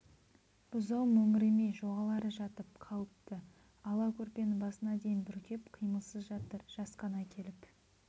бұзау мөңіремей жоғал ары жатып қалыпты ала көрпені басына дейін бүркеп қимылсыз жатыр жасқана келіп